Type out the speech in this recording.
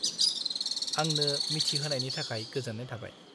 आंनो मिथिहोनायनि थाखाय गोजोन्नाय थाबाय।